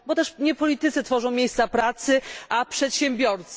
Bo też nie politycy tworzą miejsca pracy, a przedsiębiorcy.